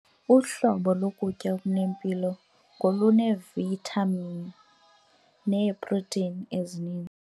Uhlobo lokutya okunempilo ngoluneevithamini neeprotheyini ezininzi.